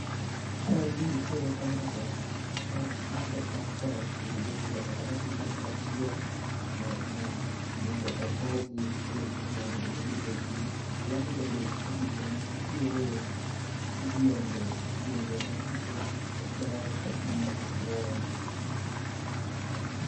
Kaendi nitiere pineapples ma oseka koa e [uodho kendo ochokgi kamoro achiel mondo okowgi kuom, kuma onego obed ni betie. Alafu bende pichani nitiere yiende, yiende manyiso ber mar aluora